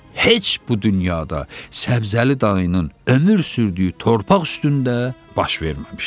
Heç bu dünyada Səbzəli dayının ömür sürdüyü torpaq üstündə baş verməmişdi.